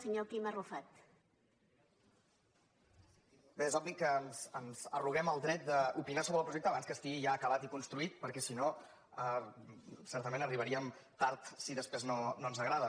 és obvi que ens arroguem el dret d’opinar sobre el projecte abans que estigui ja acabat i construït per·què si no certament arribaríem tard si després no ens agrada